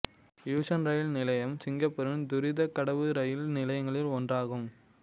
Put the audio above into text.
Yishun rail நிலையம் சிங்கப்பூரின் துரிதக் கடவு ரயில் நிலையங்களில் ஒன்றாகும்